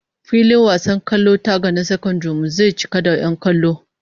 Filin wasan kwallon taga na sakandaren mu zai cika da 'yan kallo